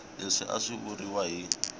leswi a swi vuriwa hi